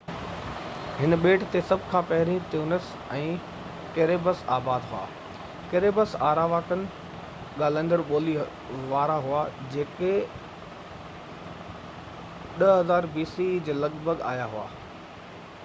هن ٻيٽ تي سڀ کان پهرين تينوس ۽ ڪيريبس آباد هئا ڪيريبس آراواڪن ڳالهائيندڙ ٻولي وارا هئا جيڪي 10,000 bce جي لڳ ڀڳ آيا هئا